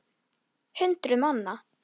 Því í búðinni fékkst allt.